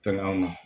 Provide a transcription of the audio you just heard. Pɛrɛnna